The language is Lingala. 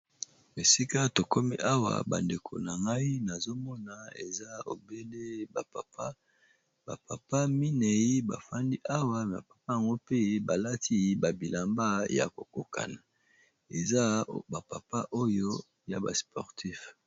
Esika to komi awa bandeko na ngai, nazo mona eza obele ba papa. Ba papa minei ba fandi awa. Ba papa yango mpe, ba lati ba bilamba ya kokokana. Eza ba papa oyo ya ba sportif.